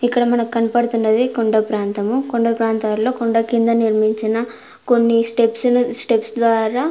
ఇక్కడ మనకు కనపడుతున్నది కొండ ప్రాంతము. కొండ ప్రాంతాల్లో కొండ కింద నిర్మించిన కొన్ని స్టెప్స్ ను స్టెప్స్ ద్వారా --